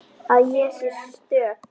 Að ég sé stök.